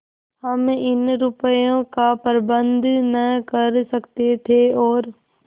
हम इतने रुपयों का प्रबंध न कर सकते थे और